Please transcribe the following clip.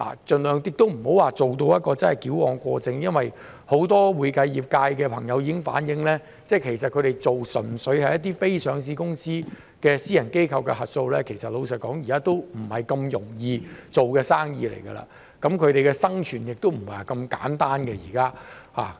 盡量不要做到矯枉過正，很多會計業界的朋友已經反映，他們做的純粹是非上市公司的私人機構的核數，老實說，現時已不是容易做的生意，他們的生存亦非那麼簡單。